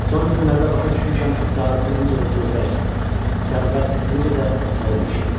Son günlərdə başa düşmüşəm ki, səadətin necə də kövrək, sərvət necə də ötəri bir şeydir.